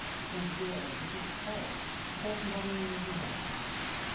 өйткені біздегі қалай біз психологтың баруының өзіне ұяламыз